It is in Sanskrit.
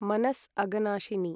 मनस् अगनाशिनी